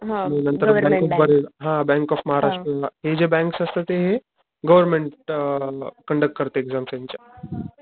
आणि नंतर bank of Baroda हा बँक ऑफ महाराष्ट्र हे जे बॅंक्स असता ते हे, गव्हर्मेंट अ कंडक्ट करत एक्साम्स यांच्या.